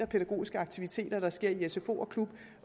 pædagogiske aktiviteter der sker i sfo og klub